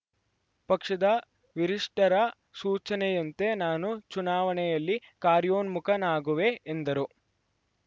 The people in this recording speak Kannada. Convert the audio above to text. ಪಕ್ಷದ ವಿರಿಷ್ಠರ ಸೂಚನೆಯಂತೆ ನಾನು ಚುನಾವಣೆಯಲ್ಲಿ ಕಾರ್ಯೋನ್ಮುಖನಾಗುವೆ ಎಂದರು